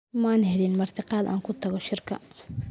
Maan helin martiqaad aan ku tago shirka.